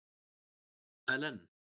Ellen